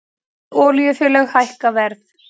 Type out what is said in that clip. Fleiri olíufélög hækka verð